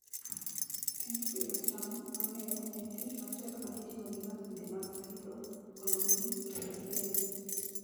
Tij pidho cham mang'eny en tich matek ma itimo gi masinde mag pidho, olo pi, kendo keyo.